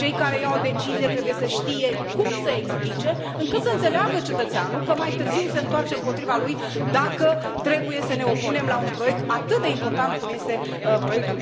Cei care iau decizii trebuie să știe cum să explice, încât să înțeleagă cetățeanul că mai târziu se întoarce împotriva lui dacă trebuie să ne opunem la un proiect atât de important cum este proiectul